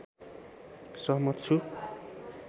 सहमत छु